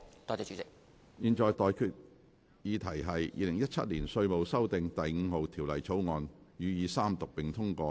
我現在向各位提出的待議議題是：《2017年稅務條例草案》予以三讀並通過。